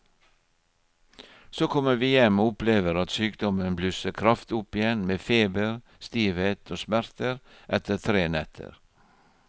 Så kommer vi hjem og opplever at sykdommen blusser kraftig opp igjen med feber, stivhet og smerter etter tre netter.